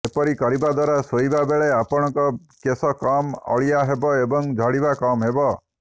ଏପରି କରିବା ଦ୍ୱାରା ଶୋଇବା ବେଳେ ଆପଣଙ୍କ କେଶ କମ୍ ଅଳିଆ ହେବ ଏବଂ ଝଡିବା କମ୍ ହେବ